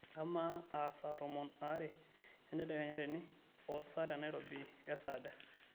ama a saa tomon are entedekenya tene ooh saa te nairobi kesaaja